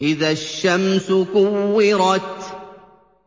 إِذَا الشَّمْسُ كُوِّرَتْ